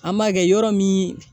An b'a kɛ yɔrɔ min